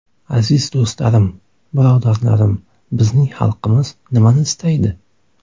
Aziz do‘stlarim, birodarlarim, bizning xalqimiz nimani istaydi?